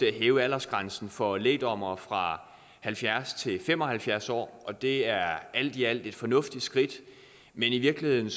hæve aldersgrænsen for lægdommere fra halvfjerds år til fem og halvfjerds år og det er alt i alt et fornuftigt skridt men i virkeligheden